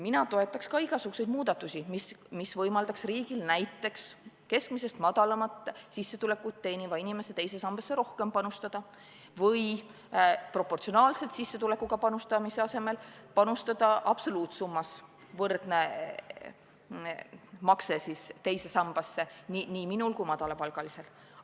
Mina toetaks ka igasuguseid muudatusi, mis võimaldaksid riigil näiteks keskmisest madalamat sissetulekut teeniva inimese teise sambasse rohkem panustada või proportsionaalselt sissetulekuga panustamise asemel panustada absoluutsummas võrdne makse teise sambasse nii minul kui ka madalapalgalisel inimesel.